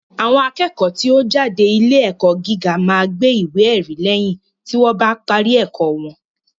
Àwọn akẹ́kọ̀ọ́ tí ó ń jáde ilé ẹ̀kọ́ gíga máa gba ìwé ẹ̀rí lẹ́yìn tí wọ́n bá parí ẹ̀kọ́ wọn